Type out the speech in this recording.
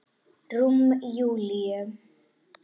Rúm Júlíu.